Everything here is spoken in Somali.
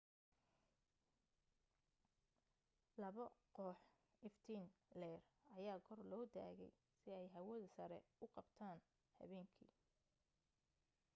labo koox iftiin leer ayaa kor loo taagay si aay hawada sare u qabtaan habeenki